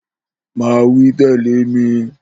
Máa wí tè̩lé mi!